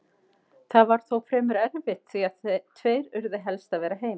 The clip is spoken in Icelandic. Það var þó fremur erfitt því að tveir urðu helst að vera heima.